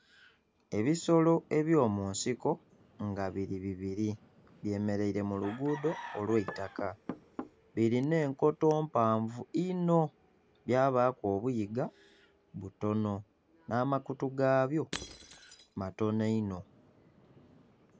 Ebisolo ebyo munsiko nga biri bibiri byemereire mu luguudo olw' itaka. Birina enkoto mpanvu inho byabaku obiyiga butono na makutu gabyo matono inho